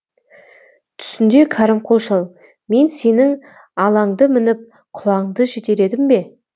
түсінде кәрімқұл шал мен сенің алаңды мініп құлаңды жетеледім бе